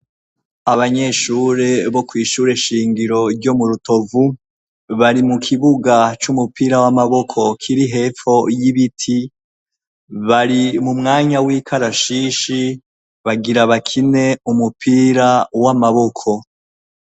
Abanyeshure bo kwishure shingiro ryo mu Rutovu bari mu kibuga c'umupira w'amaboko kiri hepfo y'ibiti, bari mu mwanya w'ikarashishi bagira bakine umupira w'amaboko.